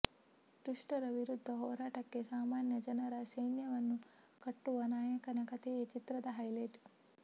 ದುಷ್ಟರ ವಿರುದ್ಧ ಹೋರಾಟಕ್ಕೆ ಸಾಮಾನ್ಯ ಜನರ ಸೈನ್ಯವನ್ನೇ ಕಟ್ಟುವ ನಾಯಕನ ಕಥೆಯೇ ಚಿತ್ರದ ಹೈಲೈಟ್